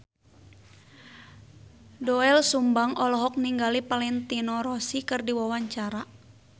Doel Sumbang olohok ningali Valentino Rossi keur diwawancara